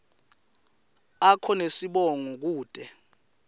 akho nesibongo kute